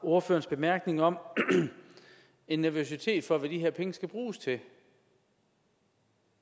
ordførerens bemærkninger om en nervøsitet for hvad de her penge skal bruges til